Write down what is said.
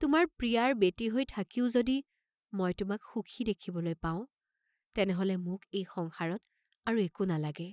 তোমাৰ প্ৰিয়াৰ বেটী হৈ থাকিও যদি মই তোমাক সুখী দেখিবলৈ পাঁও, তেনেহলে মোক এই সংসাৰত আৰু একো নেলাগে।